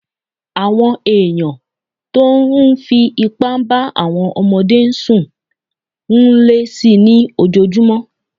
Àwọn èèyàn tó n fí ipá bá àwọn ọmọdé sùn ń lé si ní ojojúmọ́